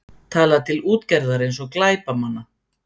Talað til útgerðar eins og glæpamanna